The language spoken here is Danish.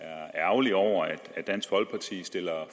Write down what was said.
er ærgerlig over at dansk folkeparti stiller